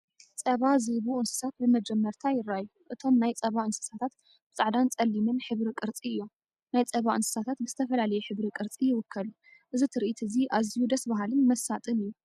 ጸባ ዝህቡ እንስሳታት ብመጀመርታ ይረኣዩ። እቶም ናይ ጸባ እንስሳታት ብጻዕዳን ጸሊምን ሕብሪ ቅርጺ እዮም፣ ናይ ጸባ እንስሳታት ብዝተፈላለየ ሕብሪ ቅርጺ ይውከሉ። እዚ ትርኢት እዚ ኣዝዩ ደስ በሃልን መሳጥን እዩ።